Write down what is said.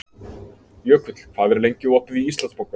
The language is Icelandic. Jökull, hvað er lengi opið í Íslandsbanka?